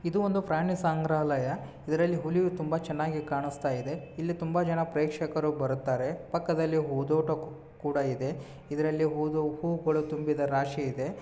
ಇದು ಒಂದು ಪ್ರಾಣಿಯ ಸಂಗ್ರಹಾಲಯ. ಇದರಲ್ಲಿ ಹುಲಿಯೂ ತುಂಬಾ ಚೆನ್ನಾಗಿ ಕಾಣುಸ್ತಾ ಇದೆ. ಇಲ್ಲಿ ತುಂಬಾ ಜನ ಪ್ರೇಕ್ಷಕರು ಬರುತ್ತಾರೆ. ಪಕ್ಕದಲ್ಲಿ ಹೂದೋಟವೂ ಕೂಡ ಇದೆ. ಇದರಲ್ಲಿ ಹೂದು ಹೂಗಳು ತುಂಬಿದ ರಾಶಿ ಇದೆ.